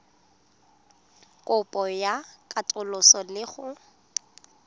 kopo ya katoloso le go